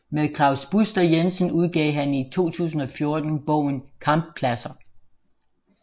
Med Klaus Buster Jensen udgav han i 2014 bogen Kamppladser